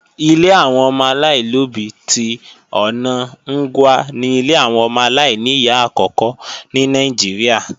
Ilé àwọn ọmọ aláìlóbí tí ọ̀na Ngwa ni ilé àwọn ọmọ aláìníyá àkókò ní Nàìjíríà